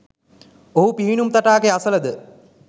ඔහු පිහිනුම් තටාකය අසලද